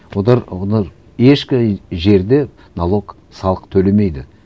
олар олар ешқай жерде налог салық төлемейді